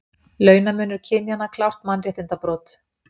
Launamunur kynjanna klárt mannréttindabrot